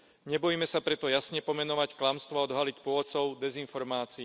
Nebojme sa preto jasne pomenovať klamstvo a odhaliť pôvodcov dezinformácií.